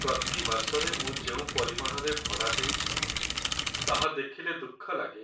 ପ୍ରତି ମାସରେ ମୁଁ ଯେଉଁ ପରିମାଣରେ ଭଡ଼ା ଦେଉଛି ତାହା ଦେଖିଲେ ଦୁଃଖ ଲାଗେ।